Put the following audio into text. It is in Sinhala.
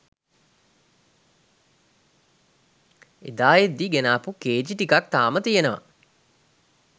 එදා එද්දි ගෙනාපු කේජී ටිකක් තාම තියනව